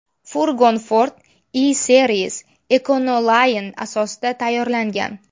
Furgon Ford E-Series/Econoline asosida tayyorlangan.